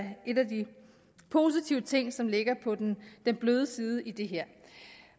en af de positive ting som ligger på den bløde side i det her